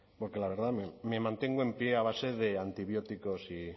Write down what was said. porque la verdad me mantengo en pie a base de antibióticos